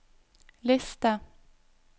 liste